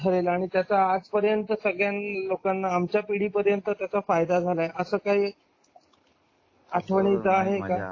आणि त्याचा आजपर्यंत सगळ्या लोकांना आमच्या पिढी पर्यंतचा फायदा झाला असं काय आठवणीत आहे का?